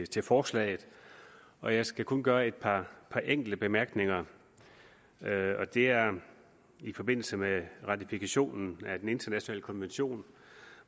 til forslaget og jeg skal kun gøre et par enkelte bemærkninger det er i forbindelse med ratifikationen af den internationale konvention